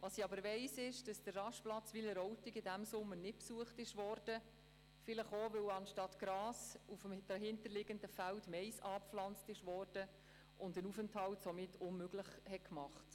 Was ich aber weiss, ist, dass der Rastplatz Wileroltigen diesen Sommer nicht besucht worden ist – vielleicht auch, weil auf den dahinter liegenden Feldern anstatt Gras Mais angepflanzt war und ein Aufenthalt somit verunmöglicht war.